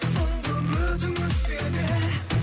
соңғы үмітің өшсе де